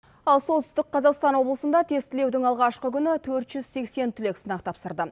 ал солтүстік қазақстан облысында тестілеудің алғашқы күні төрт жүз сексен түлек сынақ тапсырды